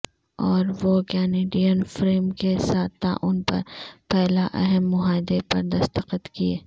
اور وہ Canadian firm کے ساتھ تعاون پر پہلا اہم معاہدے پر دستخط کئے